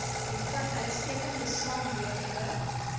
bevat uitstekende swamwerende